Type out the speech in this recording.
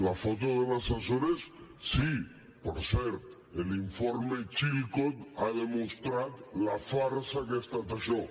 la foto de les açores sí per cert l’informe chilcot ha demostrat la farsa que ha estat això